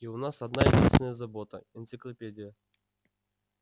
и у нас одна-единственная забота энциклопедия